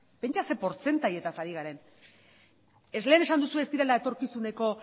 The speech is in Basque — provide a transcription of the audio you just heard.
pentsa zer portzentajez ari garen lehen esan duzu ez direla etorkizuneko